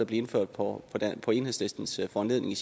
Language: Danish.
blev indført på enhedslistens foranledning